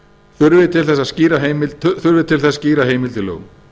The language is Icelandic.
þurfi til þess skýra heimild í lögum